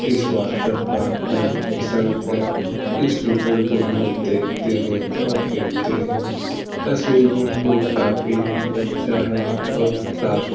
इस वाटरपार्क में फिसलकर इस स्विमिंगपुल में तैरते हैं और खेलते हैं। यह स्विंगपूल काफी ही अच्छा है और साफ़ सु --